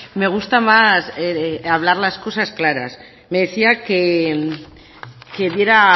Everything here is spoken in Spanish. me gusta más hablar las cosas claras me decía que diera